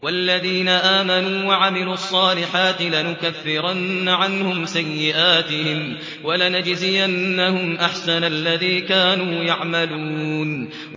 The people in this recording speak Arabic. وَالَّذِينَ آمَنُوا وَعَمِلُوا الصَّالِحَاتِ لَنُكَفِّرَنَّ عَنْهُمْ سَيِّئَاتِهِمْ وَلَنَجْزِيَنَّهُمْ أَحْسَنَ الَّذِي كَانُوا يَعْمَلُونَ